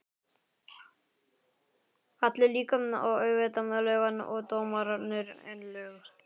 Kalli líka, og auðvitað löggan og dómararnir, en lög